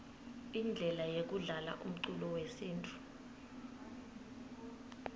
indlele yekudlalaumculo wesintfu